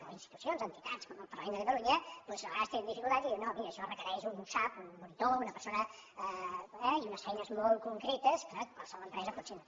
o en institucions o entitats com el parlament de catalunya doncs a vegades te·nen dificultats i diuen no mira això requereix un usap un monitor o una persona eh i unes feines molt concretes que qualsevol empresa potser no té